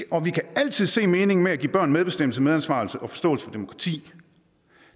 og vi kan altid se meningen med at give børn medbestemmelse medansvar og forståelse for demokrati